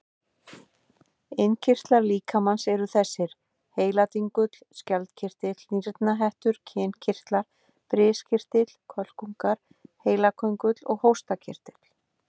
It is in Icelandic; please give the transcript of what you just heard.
Innkirtlar líkamans eru þessir: heiladingull, skjaldkirtill, nýrnahettur, kynkirtlar, briskirtill, kölkungar, heilaköngull og hóstakirtill.